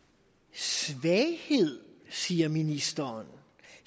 svaghed siger ministeren